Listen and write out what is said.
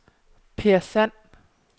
Peer Sand